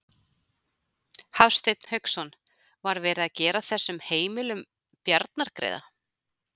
Hafsteinn Hauksson: Var verið að gera þessum heimilum bjarnargreiða?